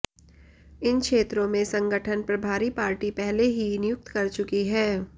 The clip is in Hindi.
इन क्षेत्रों में संगठन प्रभारी पार्टी पहले ही नियुक्त कर चुकी है